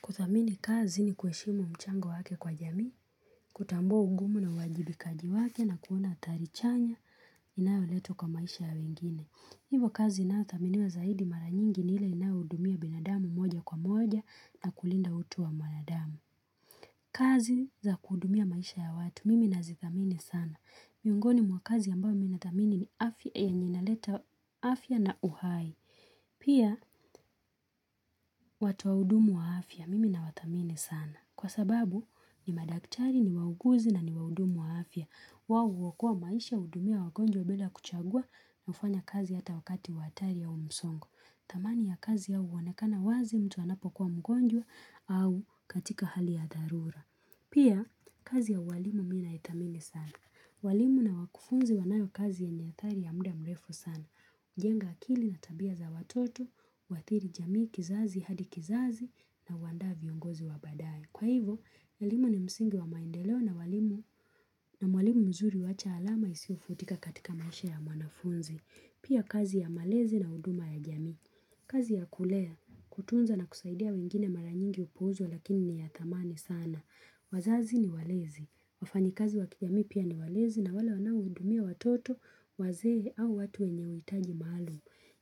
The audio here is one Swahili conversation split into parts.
Kudhamini kazi ni kuheshimu mchango wake kwa jamii, kutambua ugumu na uwajibikaji wake na kuona athari chanya inayo leta kwa maisha ya wengine. Hivo kazi inaothaminiwa zaidi mara nyingi ni ile inayo uhudumia binadamu moja kwa moja na kulinda utu wa mwanadamu. Kazi za kuhudumia maisha ya watu mimi nazidhamini sana. Miongoni mwakazi ambao mimi na dhamini ni afya yanayoleta afya na uhai. Pia watu wahudumu wa afya mimi na wadhamini sana. Kwa sababu, ni madaktari, ni wauguzi na ni wahudumu wa afia. Watu wakuokoa maisha hudumia wagonjwa bila kuchagua na hufanya kazi hata wakati hatari ya msongo. Dhamani ya kazi ya uwanekana wazi mtu anapo kuwa mgonjwa au katika hali ya dharura. Pia, kazi ya uwalimu mimi naidhamini sana. Walimu na wakufunzi wanayo kazi ya nyadhari ya muda mrefu sana. Jenga akili na tabia za watoto, huadhiri jamii kizazi hadi kizazi na huaanda viongozi wa baadae. Kwa hivyo, elimu ni msingi wa maendeleo na walimu mzuri wacha alama isiofutika katika maisha ya mwanafunzi. Pia kazi ya malezi na huduma ya jamii. Kazi ya kulea, kutunza na kusaidia wengine mara nyingi hupuuzwa lakini ni ya dhamani sana. Wazazi ni walezi. Wafanyi kazi wa kijamii pia ni walezi na wala waonahudumia watoto, wazee au watu wenye huitaji maalu.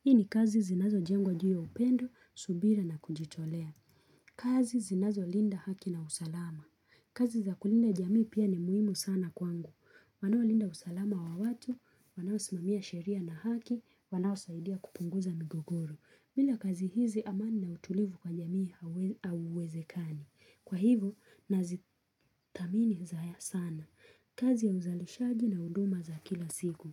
Hii ni kazi zinazo jengwa juu ya upendo, subira na kujitolea. Kazi zinazo linda haki na usalama. Kazi za kulinda jamii pia ni muhimu sana kwangu. Wanawaolinda usalama wa watu, wanaowasimamia sheria na haki, wanaowasaidia kupunguza migogoro. Bila kazi hizi amani na utulivu kwa jamii auwezekani. Kwa hivo, nazidhamini haya sana. Kazi ya uzalishaji na huduma za kila siku.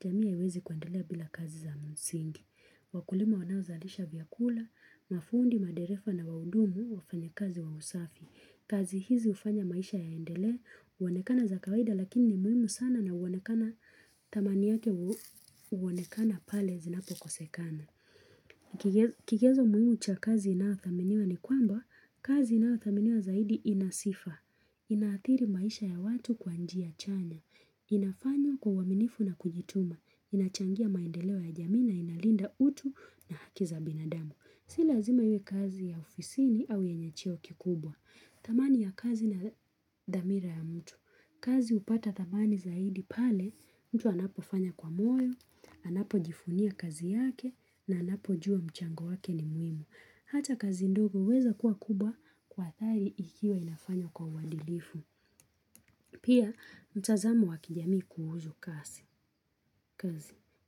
Jamii hauwezi kuendelea bila kazi za msingi. Wakulima wanao zalisha vyakula, mafundi, maderefa na waudumu wafanya kazi wa usafi. Kazi hizi ufanya maisha yaendelee, uonekana za kawaida lakini ni muhimu sana na uonekana dhamani yake uonekana pale zinapo kosekana. Kigezo muhimu cha kazi inaodhaminiwa ni kwamba kazi inaodhaminiwa zaidi inasifa. Inadhiri maisha ya watu kwa njia chanya. Inafanywa kwa uaminifu na kujituma. Inachangia maendeleo ya jamii na inalinda utu na haki za binadamu. Si lazima iwe kazi ya ofisini au yenye cheo kikubwa. Dhamani ya kazi na dhamira ya mtu. Kazi upata dhamani zaidi pale mtu anapofanya kwa moyo, anapojivunia kazi yake na anapojua mchango wake ni muhimu. Hata kazi ndogo huweza kuwa kubwa kwa dhari ikiwa inafanywa kwa uadilifu. Pia, mtazamo wakijamii kuhusu kazi.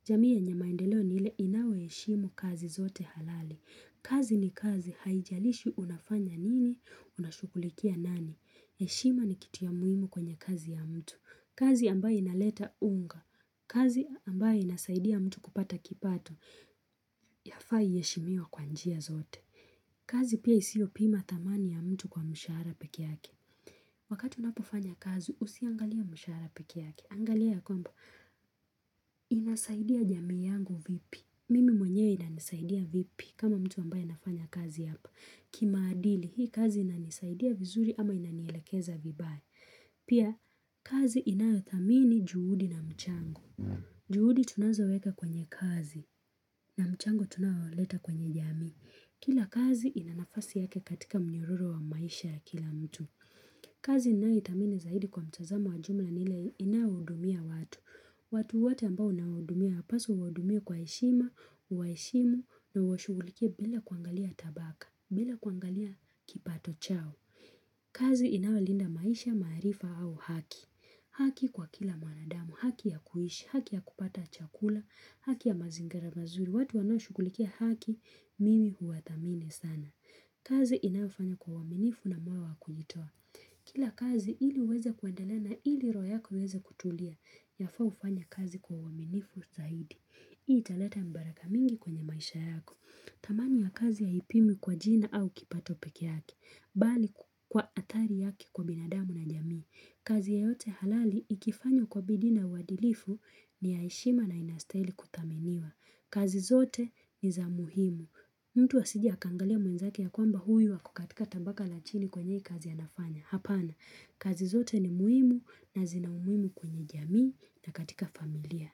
Jamii yenye maendeleo ni ile inayoheshimu kazi zote halali. Kazi ni kazi haijalishi unafanya nini, unashukulikia nani. Heshima ni kitu ya muhimu kwenye kazi ya mtu. Kazi ambaye inaleta unga. Kazi ambaye inasaidia mtu kupata kipato. Yafaa iheshimiwe kwanjia zote. Kazi pia isio pima dhamani ya mtu kwa mishara pekee yake. Wakati unapofanya kazi usiangalie mishara pekee yake. Angalia ya kwamba. Inasaidia jamii yangu vipi. Mimi mwenye inanisaidia vipi kama mtu ambaye nafanya kazi hapa. Kimaadili hii kazi inanisaidia vizuri ama inanielekeza vibaya. Pia kazi inaodhamini juhudi na mchango. Juhudi tunazoweka kwenye kazi na mchango tunaoleta kwenye jamii. Kila kazi inanafasi yake katika mnyororo wa maisha ya kila mtu. Kazi inayodhamini zaidi kwa mtazamo wajumla ni ile inayohudumia watu watu wote ambao unawahudumia yapaswa waudumiwe kwa heshima, uwaheshimu na uwashugulikie bila kuangalia tabaka, bila kuangalia kipato chao kazi inawalinda maisha, maarifa au haki haki kwa kila mwanadamu, haki ya kuishi, haki ya kupata chakula, haki ya mazingara mazuri watu wanaoshugulikia haki mimi huadhamini sana kazi inayofanywa kwa uaminifu na moyo wakujitoa Kila kazi iliuweze kuendelea ili royp yako iwezekutulia Yafaa ufanya kazi kwa uaminifu zaidi Hii italeta mibaraka mingi kwenye maisha yako dhamani ya kazi haipimwi kwa jina au kipato pekee yake Bali kwa adhari yake kwa binadamu na jamii kazi ya yote halali ikifanywa kwa bidii na uadilifu ni yaheshima na inastahili kudhaminiwa kazi zote ni za muhimu mtu hasije akangalia mwenzake ya kwamba huyu hako katika tabaka la chini kwenye hii kazi anafanya. Hapana, kazi zote ni muhimu na zinaumuhimu kwenye jamii na katika familia.